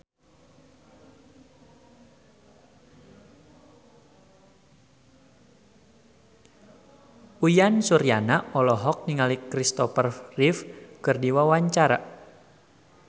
Uyan Suryana olohok ningali Christopher Reeve keur diwawancara